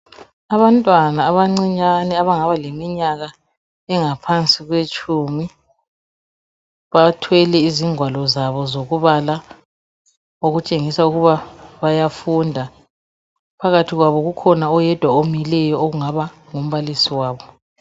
Abantwana abancinyane abangaba leminyaka engaphansi kwetshumi, bathwele izigwalo zabo zokubala, okutshesa ukuba bayafunda. Phakathi kwabo okhona oyedwa omileyo ongaba ngumbalisi wabo.